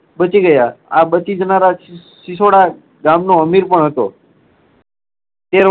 બચી ગયા. આ બચી જનારા સ~સિસોડા ગામનો અમિર પણ હતો. તે